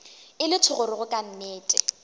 e le thogorogo ka nnete